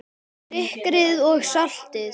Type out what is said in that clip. Sykrið og saltið.